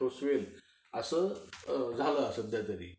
सोसवेल असं झालं असेल काहीतरी.